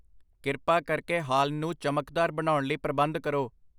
ਕਿਰਪਾ ਕਰਕੇ ਹਾਲ ਨੂੰ ਚਮਕਦਾਰ ਬਣਾਉਣ ਲਈ ਪ੍ਰਬੰਧ ਕਰੋ